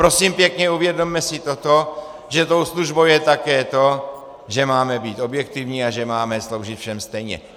Prosím pěkně, uvědomme si toto, že tou službou je také to, že máme být objektivní a že máme sloužit všem stejně.